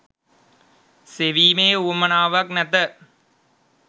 සෙවීමේ උවමනාවක් නැත